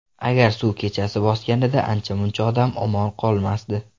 Agar suv kechasi bosganida, ancha-muncha odam omon qolmasdi.